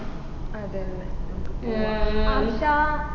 അതെ അതെ നമ്മുക്ക് പോവ ആർഷാ